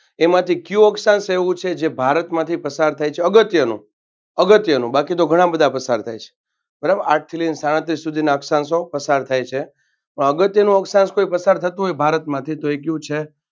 એમાંથી કયું અક્ષાંશ એવું છે જે ભારતમાંથી પસાર થાય છે. અગત્યનો અગત્યનો બાકી તો ઘણા બધા પસાર થાય છે. બારાબર આઠથી લઈને સાડત્રીસ સુધીના અક્ષાંશો પસાર થાય છે. અગત્યનું કોઈ અક્ષાંશ કોઈ પસાર થતું હોય તો ભારતમાંથી તો એ કયું છે.